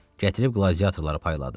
Gətirib qladiatorlara payladı.